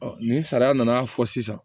ni sariya nana fɔ sisan